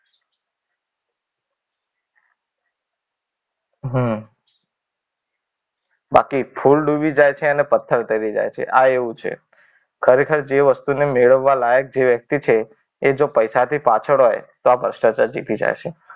હમ બાકી ફૂલ ડૂબી જાય છે ને પથ્થર તરી જાય છે આ એવું છે. ખરેખર જેવી વસ્તુને મેળવવા લાયક જે વ્યક્તિ છે એ જો પૈસાથી પાછળ હોય તો આ ભ્રષ્ટાચાર જીતી જાય છે.